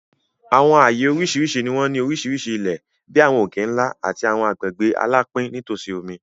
Àwọn ààyè oríṣiríṣi ni àwọn oríṣiríṣi ilẹ̀, bí àwọn òkè-ńlá àti àwọn agbègbè alapin nítòsí omi.